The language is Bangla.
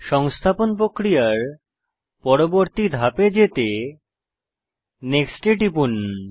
সংস্থাপন প্রক্রিয়ার পরবর্তী ধাপে যেতে নেক্সট এ টিপুন